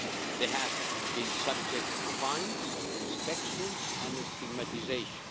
They have been subject to fines, inspections and stigmatisation.